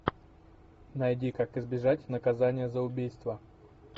найди как избежать наказания за убийство